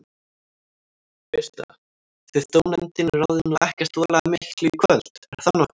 Birta: Þið dómnefndin ráðið nú ekkert voðalega miklu í kvöld, er það nokkuð?